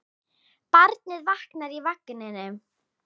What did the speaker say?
Barnið vaknaði í vagninum.